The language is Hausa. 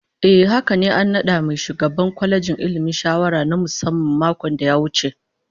Ehh haka ne, an nada mai ba shugaban kwalejin Ilmi shawara na musamman a makon da ya wuce